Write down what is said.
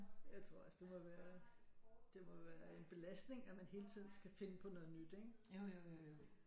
Jeg tror også det må være det må være en belastning at man hele tiden skal finde på noget nyt ikke